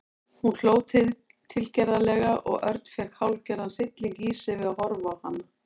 Hún hló tilgerðarlega og Örn fékk hálfgerðan hrylling í sig við að horfa á hana.